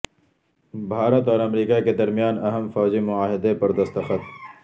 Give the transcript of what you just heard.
بھارت اور امریکہ کے درمیان اہم فوجی معاہدے پر دستخط